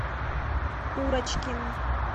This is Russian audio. курочкин